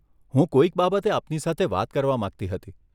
હું કોઈક બાબતે આપની સાથે વાત કરવા માંગતી હતી.